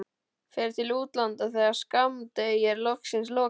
Fer til útlanda þegar skammdegi er loksins lokið.